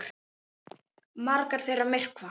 Margar þeirra myrkva.